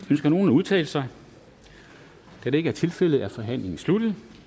ønsker nogen at udtale sig da det ikke er tilfældet er forhandlingen sluttet